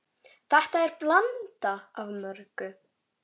Þetta er blanda af mörgu.